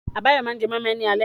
Abayomi máa jẹ moi moi ní alẹ́ yìí.